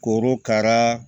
Korokara